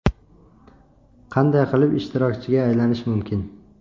Qanday qilib ishtirokchiga aylanish mumkin?